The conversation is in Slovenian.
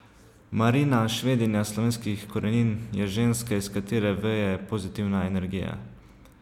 Marina, Švedinja slovenskih korenin, je ženska iz katere veje pozitivna energija.